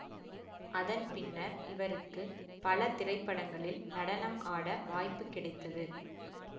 அதன் பின்னர் இவருக்கு பல திரைப்படங்களில் நடனம் ஆட வாய்ப்பு கிடைத்தது